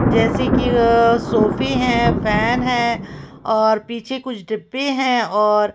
जैसे कि वह सोफे हैं फैन है और पीछे कुछ डिब्बे हैं और--